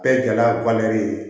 Bɛɛ gɛlɛya bannen ye